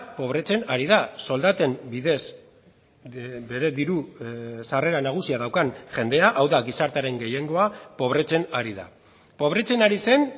pobretzen ari da soldaten bidez bere diru sarrera nagusia daukan jendea hau da gizartearen gehiengoa pobretzen ari da pobretzen ari zen